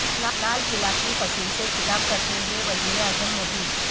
لال قلعہ کی فصیل سے خطاب کرتے ہوئے وزیر اعظم مودی